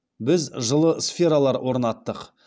біз жылы сфералар орнаттық